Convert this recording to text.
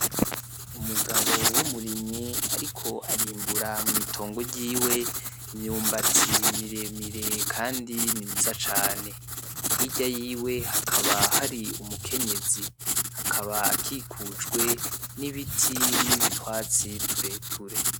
Umugabo w'umurimyi ariko arimbura mw'itongo ryiwe imyumbati miremire kandi myiza cane , hirya yiwe hakaba hari umukenyezi , akaba akikujwe n'ibiti n'utwatsi tureture .